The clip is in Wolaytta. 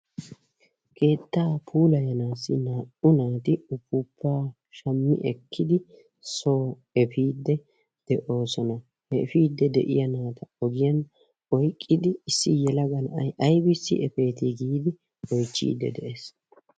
Keettaa puulayanaassi naa"u naati uppuppaa shammi ekkidi soo efiide de'oosona he efiide de'iya naata ogiyan oyqqidi issi yelaga na'ay aybissi eppeetii giidi oychchidi de'ees.